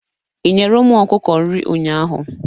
Ị nyere ụmụ ọkụkọ nri ụnyaahụ?